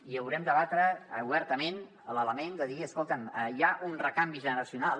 i haurem de debatre obertament sobre l’element de dir escolta’m hi ha un recanvi generacional